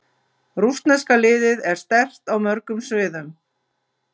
Rússneska liðið er sterkt á mörgum sviðum.